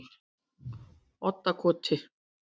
Oddakoti